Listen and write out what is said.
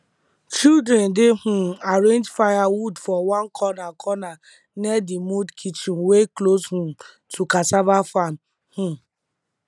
children dey um arrange firewood for one corner corner near the mud kitchen wey close um to cassava farm um